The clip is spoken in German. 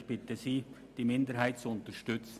Ich bitte Sie, die Minderheit zu unterstützen.